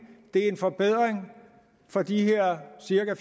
det er en forbedring for de her cirka